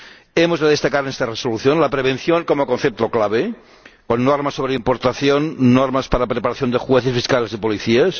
Hemos de destacar en esta Resolución la prevención como concepto clave, con normas sobre importación, normas para preparación de jueces, fiscales y policías.